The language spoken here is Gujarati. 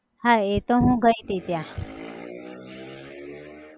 હા એતો હું ગઈ તી ત્યાં